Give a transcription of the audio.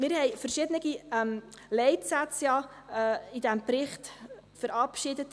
Wir haben in diesem Bericht verschiedene Leitsätze verabschiedet.